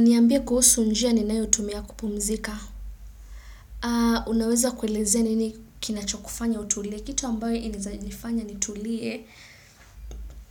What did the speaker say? Niambia kuhusu njia ninayo tumia kupumzika. Unaweza kuelezea nini kinachokufanya utulie. Kitu ambayo inaeza nifanya nitulie